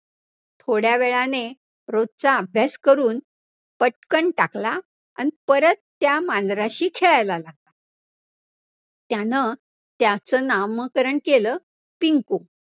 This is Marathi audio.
थोड्यावेळाने रोजचा अभ्यास करून पटकन टाकला आणि परत त्या मांजराशी खेळायला लागला, त्यानं त्याचं नामकरण केलं पिंकु.